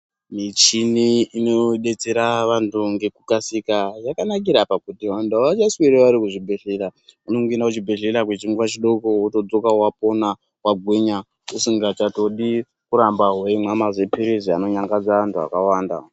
Michini inodetsera vantu ngekukasika yakanakira pakuti vantu havachasweri vari kuzvibhedhlera. Vanongoenda kuchibhedhlera kwechinguva chidoko wotodzoka wapona wagwinya, usingachatodi kuramba weimwa maziphirizi anonyangadza antu akawanda.